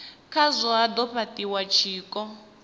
khazwo ha do fhatiwa tshiko